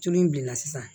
Tulu in bilenna sisan